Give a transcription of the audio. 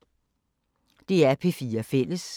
DR P4 Fælles